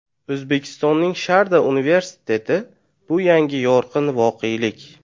O‘zbekistonning Sharda universiteti - bu yangi yorqin voqelik!